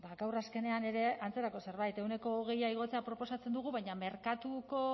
gaur azkenean ere antzerako zerbait ehuneko hogei igotzea proposatzen dugu baina merkatuko